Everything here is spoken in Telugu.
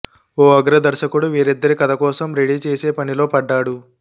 ఓ అగ్ర దర్శకుడు వీరిద్దరి కోసం కథ రెడీ చేసే పనిలో పడ్డాడు